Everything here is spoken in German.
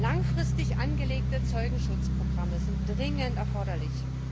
Langfristig angelegte Zeugenschutzprogramme sind dringend erforderlich.